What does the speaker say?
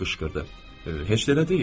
Heç də elə deyil.